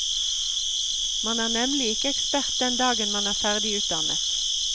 Man er nemlig ikke ekspert den dagen man er ferdig utdannet.